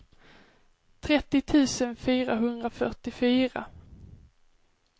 trettio tusen fyrahundrafyrtiofyra